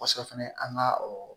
Kɔsɔbɛ fɛnɛ an ka o